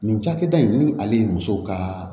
Nin cakɛda in ni ale ye muso ka